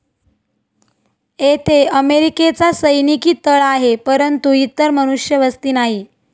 येथे अमेरिकेचा सैनिकी तळ आहे परंतु इतर मनुष्यवस्ती नाही.